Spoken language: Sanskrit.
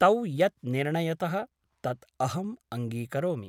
तौ यत् निर्णयतः तत् अहम् अङ्गीकरोमि ।